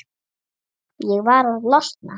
Ég varð að losna.